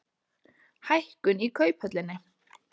Hækkun í Kauphöllinni